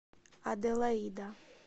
аделаида